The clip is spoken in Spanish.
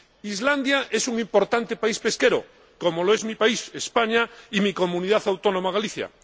Islandia es un importante país pesquero, como lo es mi país, España, y mi Comunidad Autónoma, Galicia.